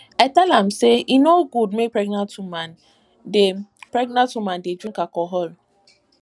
i tell am sey e no good make pregnant woman dey pregnant woman dey drink alcohol